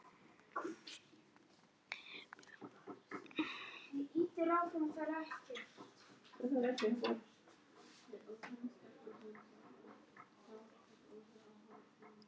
Heimir Már: Benedikt hvaða mál reyndust það nú sem erfiðast var að ná saman um?